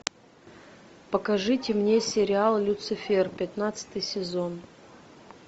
покажите мне сериал люцифер пятнадцатый сезон